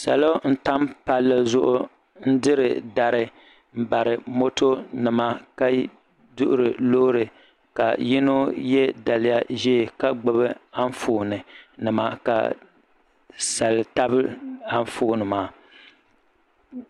salo n tam palli zuɣu n diri dari n bari moto nima ka duɣuri loori ka yino yɛ daliya ʒiɛ ka gbubi Anfooni nima ka sali tabi Anfooni maa